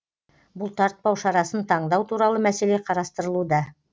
бұлтартпау шарасын таңдау туралы мәселе қарастырылуда